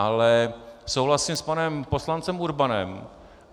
Ale souhlasím s panem poslancem Urbanem.